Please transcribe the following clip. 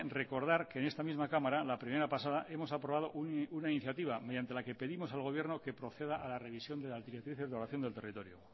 recordar que en esta misma cámara la primavera pasada hemos aprobado una iniciativa mediante la que pedimos al gobierno que proceda a la revisión de las directrices de ordenación del territorio